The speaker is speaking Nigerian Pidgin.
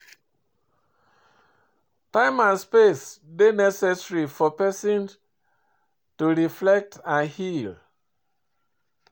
Time and space dey necessary for pesin to reflect and heal.